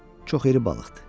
Çox iri balıqdır.